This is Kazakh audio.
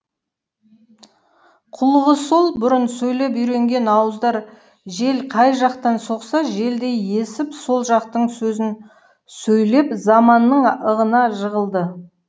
қулығы сол бұрын сөйлеп үйренген ауыздар жел қай жақтан соқса желдей есіп сол жақтың сөзін сөйлеп заманның ығына жығылды